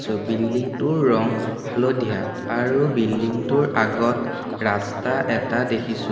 চ building টোৰ ৰং হালধীয়া আৰু বিল্ডিং টোৰ আগত ৰাস্তা এটা দেখিছোঁ।